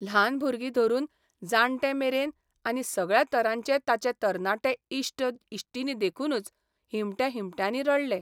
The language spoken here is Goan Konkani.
ल्हान भुरगीं धरून जाण्टे मेरेन आनी सगळ्या तरांचे ताचे तरणाटे इश्ट इश्टिणी देखूनच हिमट्या हिमट्यांनी रडले.